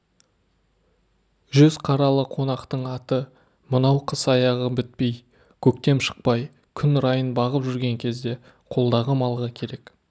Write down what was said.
жүз қаралы қонақтың аты мынау қыс аяғы бітпей көктем шықпай күн райын бағып жүрген кезде қолдағы малға керек